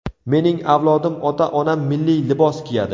Mening avlodim, ota-onam milliy libos kiyadi.